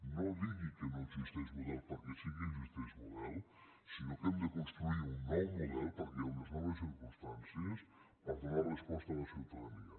no digui que no n’existeix model perquè sí que n’existeix model sinó que hem de construir un nou model perquè hi ha unes noves circumstàncies per donar resposta a la ciutadania